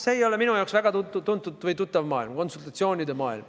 See ei ole minu jaoks väga tuttav maailm – konsultatsioonide maailm.